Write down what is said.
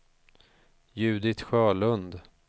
Judit Sjölund